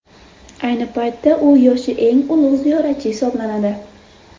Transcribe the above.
Ayni paytda u yoshi eng ulug‘ ziyoratchi hisoblanadi.